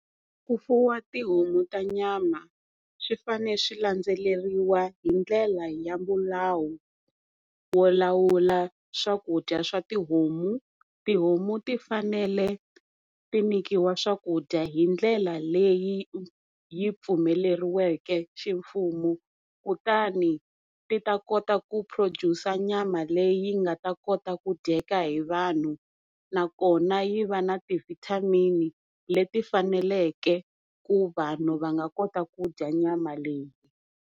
Ku fuwa tihomu ta nyama swi fane swi landzelerile hindlela ya milawu wo lawula swakudya swa tihomu. Tihomu ti fanele ti nyikiwa swakudya hindlela leyi yi pfumeleriweke ximfumo, kutani ti ta kota ku produce nyama leyi yi nga ta kota ku dyeka hi vanhu nakona yi va na ti-vitamin leti fanaleke ku vanhu va nga kota ku dya nyama leyi.